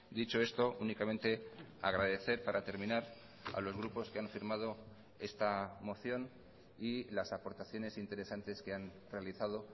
dicho esto únicamente agradecer para terminar a los grupos que han firmado esta moción y las aportaciones interesantes que han realizado